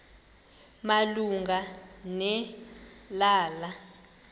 malunga ne lala